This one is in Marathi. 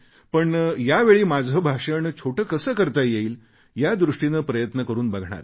पण यावेळी माझे भाषण छोटे कसे करता येईल यादृष्टीने प्रयत्न करून बघणार आहे